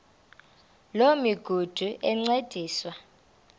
loo migudu encediswa